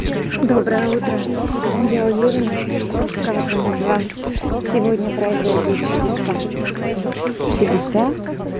доброе утро я уверена что с каждым из вас сегодня произойдут чудеса чудеса